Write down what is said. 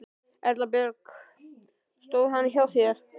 Erla Björg: Stóð hann hjá þér?